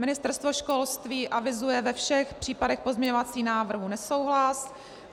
Ministerstvo školství avizuje ve všech případech pozměňovacích návrhů nesouhlas.